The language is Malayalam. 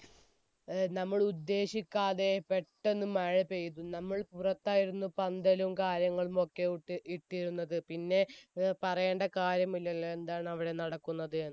നമ്മൾ ഉദ്ദേശിക്കാത്ത പെട്ടെന്ന് മഴ പെയ്തു നമ്മൾ പുറത്തായിരുന്നു പന്തലും കാര്യങ്ങളും ഒക്കെ ഇട്ടിരുന്നത് പിന്നെ പറയേണ്ട കാര്യമില്ലല്ലോ എന്താണ് അവിടെ നടക്കുന്നതെന്ന്